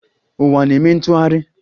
Uwa na-eme ntụghari